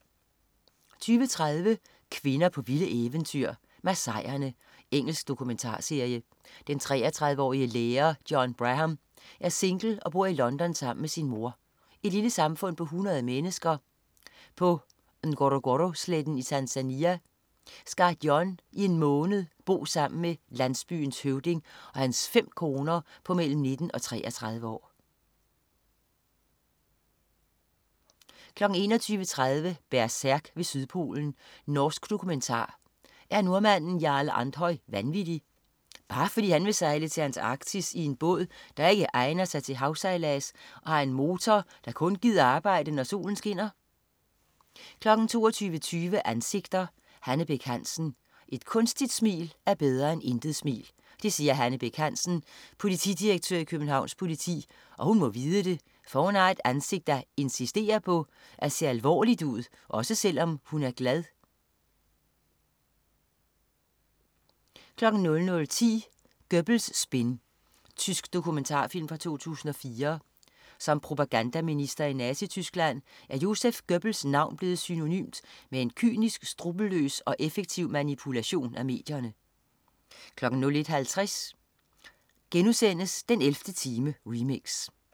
20.30 Kvinder på vilde eventyr. Masaierne. Engelsk dokumentarserie. Den 33-årige lærer Dionne Braham er single og bor i London sammen med sin mor. I et lille samfund på 100 mennesker på Ngorogoro-sletten i Tanzania skal Dionne i en måned bo sammen med landsbyens høvding og hans fem koner på mellem 19 og 33 år 21.30 Berserk ved Sydpolen. Norsk dokumentar. Er nordmanden Jarle Andhøy vanvittig, bare fordi han vil sejle til Antarktis i en båd, der ikke egner sig til havsejlads og har en motor, der kun gider arbejde, når solen skinner? 22.20 Ansigter: Hanne Bech Hansen. Et kunstigt smil er bedre end intet smil. Det siger Hanne Bech Hansen, politidirektør i Københavns politi, og hun må vide det, for hun har et ansigt, der insisterer på at se alvorligt ud, også selv om hun er glad 00.10 Göbbels spin. Tysk dokumentarfilm fra 2004. Som propagandaminister i Nazityskland er Joseph Göbbels navn blevet synonymt med en kynisk, skruppelløs og effektiv manipulation af medierne 01.50 den 11. time, remix*